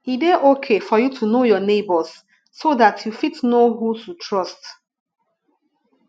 e dey okay for you to know your neigbours so dat you fit know who to trust